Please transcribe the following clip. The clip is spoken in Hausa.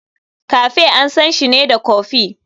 Cafe ansanshi ne da kofi.